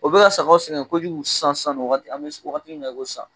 O be ka sagaw sɛgɛn kojugu sansan ni an be wagati min na e ko san